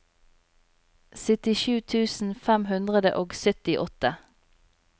syttisju tusen fem hundre og syttiåtte